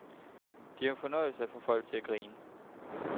Det er jo en fornøjelse at få folk til at grine.